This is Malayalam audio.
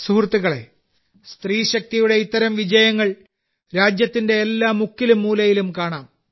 സുഹൃത്തുക്കളേ സ്ത്രീശക്തിയുടെ ഇത്തരം വിജയങ്ങൾ രാജ്യത്തിന്റെ എല്ലാ മുക്കിലും മൂലയിലും കാണാം